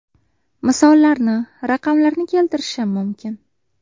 Misollarni, raqamlarni keltirishim mumkin.